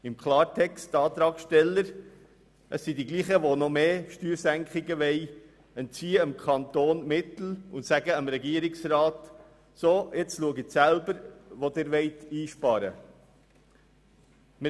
Im Klartext: Die Antragsteller entziehen dem Kanton die Mittel und sagen dem Regierungsrat, er müsse selber schauen, wo er sparen wolle.